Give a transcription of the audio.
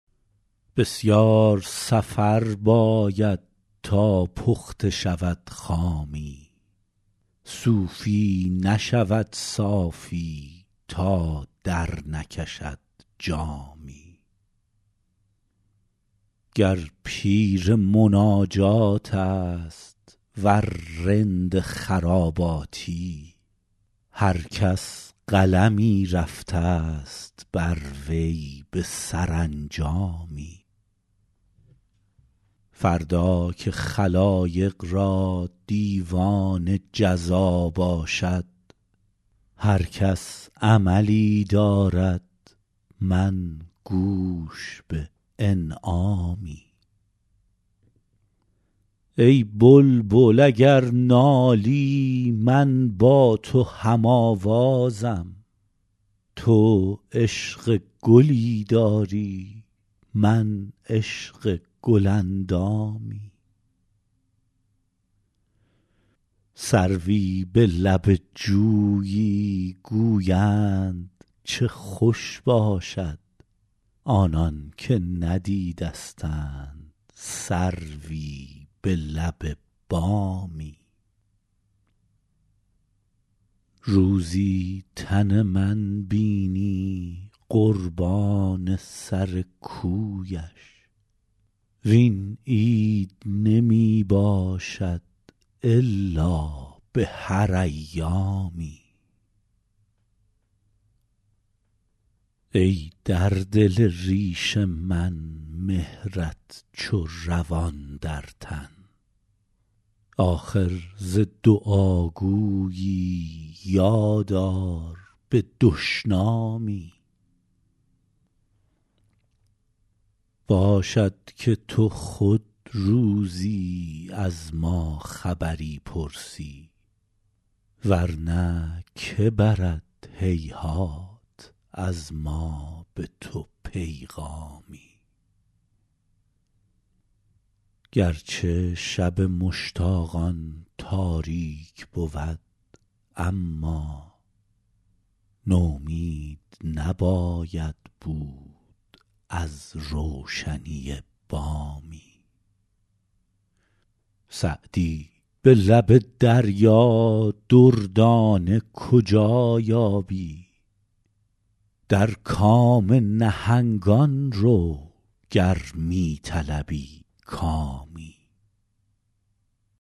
بسیار سفر باید تا پخته شود خامی صوفی نشود صافی تا درنکشد جامی گر پیر مناجات است ور رند خراباتی هر کس قلمی رفته ست بر وی به سرانجامی فردا که خلایق را دیوان جزا باشد هر کس عملی دارد من گوش به انعامی ای بلبل اگر نالی من با تو هم آوازم تو عشق گلی داری من عشق گل اندامی سروی به لب جویی گویند چه خوش باشد آنان که ندیدستند سروی به لب بامی روزی تن من بینی قربان سر کویش وین عید نمی باشد الا به هر ایامی ای در دل ریش من مهرت چو روان در تن آخر ز دعاگویی یاد آر به دشنامی باشد که تو خود روزی از ما خبری پرسی ور نه که برد هیهات از ما به تو پیغامی گر چه شب مشتاقان تاریک بود اما نومید نباید بود از روشنی بامی سعدی به لب دریا دردانه کجا یابی در کام نهنگان رو گر می طلبی کامی